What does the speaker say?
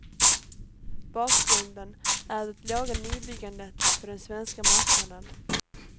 Bakgrunden är det låga nybyggandet på den svenska marknaden.